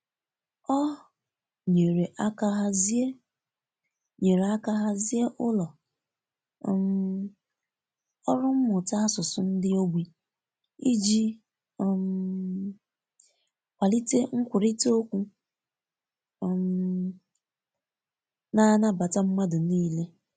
Ọ nyere aka hazie nyere aka hazie ụlọ um ọrụ mmụta asụsụ ndi ogbi iji um kwalite nkwurịta okwu um na-anabata mmadụ niile.